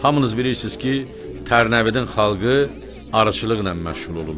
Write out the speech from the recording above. Hamınız bilirsiz ki, Tərnəvidin xalqı arıçılıqla məşğul olurlar.